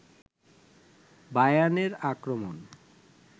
বায়ার্নের আক্রমণ